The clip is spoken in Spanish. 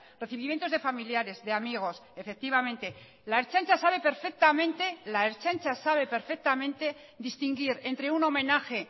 recibimiento de familiares de amigos efectivamente la ertzaintza sabe perfectamente distinguir entre un homenaje